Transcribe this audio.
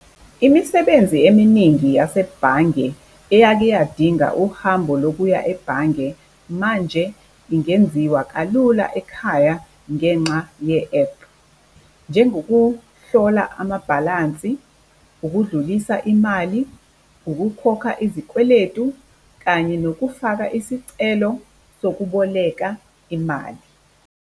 Imisebenzi eminingi yasebhange eyake iyadinga uhambo lokuya ebhange, manje ingenziwa kalula ekhaya ngenxa ye-app, njengokuhlola amabhalansi, ukudlulisa imali, ukukhokha izikweletu kanye nokufaka isicelo sokuboleka imali.